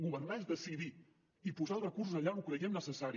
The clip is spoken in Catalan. governar és decidir i posar els recursos allà on ho creiem necessari